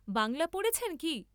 বাঙ্গ্‌লা পড়েছেন কি?